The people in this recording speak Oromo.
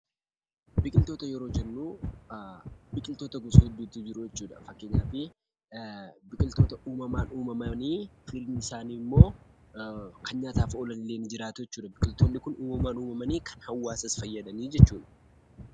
Biqiltoota yeroo jennu biqiltoota gosa hedduutu jiru. Biqiltoota uumamaan uumamanii sanyiin isaa immoo kan nyaataaf oolan ni jiraatu. Biqiltoonni kun hawaasaaf faayidaa guddaa qabu.